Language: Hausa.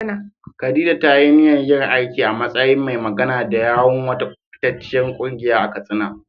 Khadija ta yi niyyar yin aiki a matsayin mai magana da yawun wata fitacciyar kungiya a Katsina.